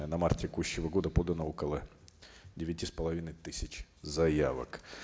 на март текущего года подано около девяти с половиной тысяч заявок